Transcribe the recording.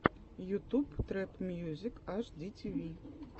ютуб трэп мьюзик аш ди ти ви